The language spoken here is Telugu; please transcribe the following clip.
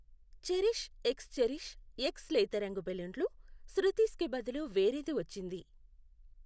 చెరిష్ ఎక్స్ చెరిష్ ఎక్స్ లేతరంగు బెలూన్లు శృతీస్ కి బదులు వేరేది వచ్చింది.